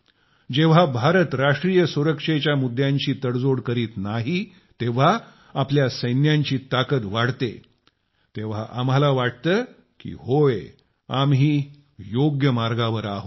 जेव्हा भारत राष्ट्रीय सुरक्षेच्या मुद्द्यांशी तडजोड करीत नाही जेव्हा आपल्या सैन्यांची ताकद वाढते तेव्हा आम्हाला वाटते की होय आम्ही योग्य मार्गावर आहोत